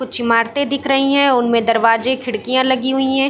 कुछ इमारतें दिख रही है उनमें दरवाजे खिड़कियाँ लगी हुई है।